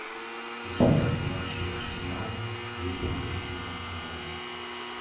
результаты матчей арсенал лето две тысячи девятнадцатого года